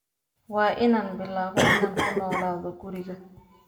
Waa inaan bilaabo inaan ku noolaado guriga